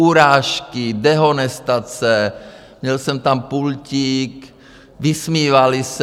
Urážky, dehonestace, měl jsem tam pultík, vysmívali se.